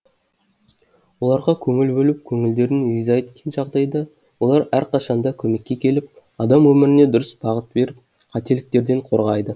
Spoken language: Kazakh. оларға көңіл бөліп көңілдерін риза еткен жағдайда олар әрқашан да көмекке келіп адам өміріне дұрыс бағыт беріп қателіктерден қорғайды